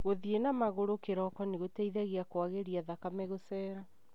Gũthĩi na magũrũ kĩroko nĩgũteithagia kũagĩrĩa thamame gũcera.